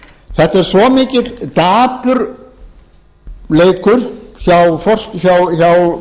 þetta er svo mikill dapurleikur hjá ráðherrunum og